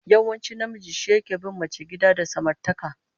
Yawanci namiji shi take bin mace gida da samartaka